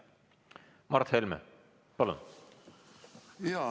Mart Helme, palun!